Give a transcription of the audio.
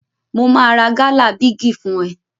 Mo máa ra gálà bígì fún ẹ.